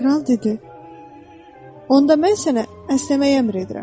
Kral dedi: "Onda mən sənə əsnəməyə əmr edirəm.